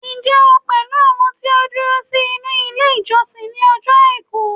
njé o pẹlú àwọn ti o duro sí inú ilé ìjósìn ni ojo aiku